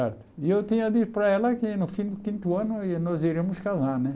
E eu tinha dito para ela que no fim do quinto ano eu ia nós iríamos casar né.